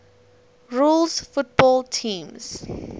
rules football teams